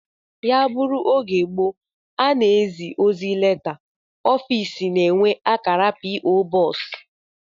Ya bụrụ oge gboo a na-ezi ozi leta, ofiisi na-enwe akara p. o. Box